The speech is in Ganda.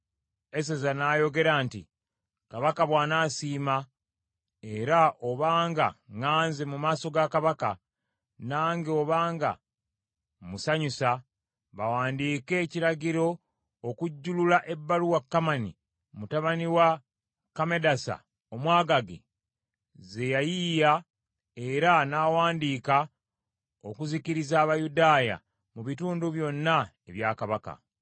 Eseza n’ayogera nti, “Kabaka bw’anasiima, era obanga ŋŋaanze mu maaso ga Kabaka, nange obanga musanyusa, bawandiike ekiragiro okujjulula ebbaluwa Kamani mutabani wa Kammedasa Omwagaagi, ze yayiiya era n’awandiika okuzikiriza Abayudaaya mu bitundu byonna ebya kabaka.